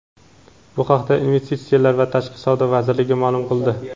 Bu haqda Investitsiyalar va tashqi savdo vazirligi ma’lum qildi.